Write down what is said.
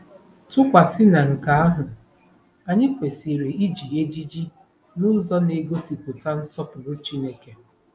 Tụkwasị na nke ahụ, anyị kwesịrị iji ejiji n’ụzọ na-egosipụta ‘ nsọpụrụ Chineke. '